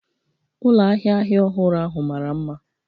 Ụlọ ahịa ahịa ọhụrụ ahụ mara mma